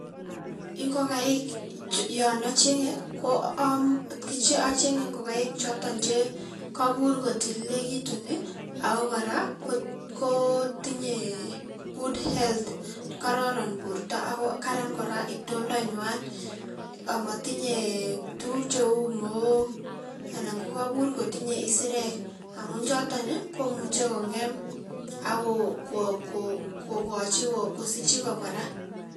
Ingokaik yon achengei ko achenge ngokaik choton che kaipur kotililekitun ako kora kotinyei [ccs]good health, kararan borto ako karan kora itoondangwai, amatinyei tuguuk cheu mook anan kaipur kotinyei isirek amun choton komuchei kongem ako kokochin kosich jigger kora.